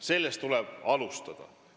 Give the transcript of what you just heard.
Sellest tuleb alustada.